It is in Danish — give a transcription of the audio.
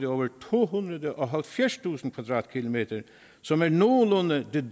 over tohundrede og halvfjerdstusind kvadratkilometer som er nogenlunde det